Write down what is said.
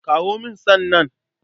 Kawo min san nan.